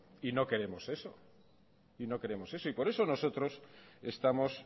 y no queremos eso y por eso nosotros estamos